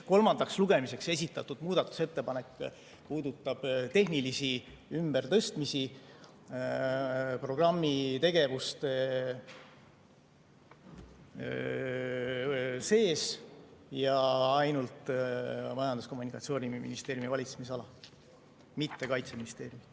Kolmandaks lugemiseks esitatud muudatusettepanek puudutab tehnilisi ümbertõstmisi programmi tegevuste sees ja ainult Majandus‑ ja Kommunikatsiooniministeeriumi valitsemisala, mitte Kaitseministeeriumi.